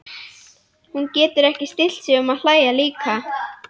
Hún getur ekki stillt sig um að hlæja líka.